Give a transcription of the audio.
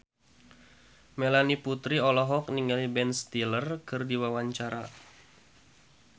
Melanie Putri olohok ningali Ben Stiller keur diwawancara